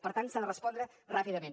per tant s’hi ha de respondre ràpidament